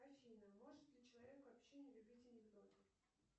афина может ли человек вообще не любить анекдоты